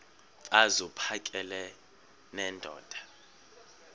mfaz uphakele nendoda